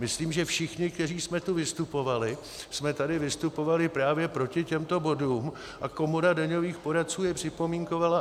- Myslím, že všichni, kteří jsme tu vystupovali, jsme tady vystupovali právě proti těmto bodům, a Komora daňových poradců je připomínkovala.